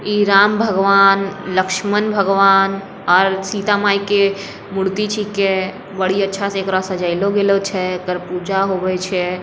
इ राम भगवान लक्ष्मण भगवान और सीता माई के मूर्ति छींके बड़ी अच्छा से ऐकरा सजेलो गेलो छै एकड़ पूजा होवे छै।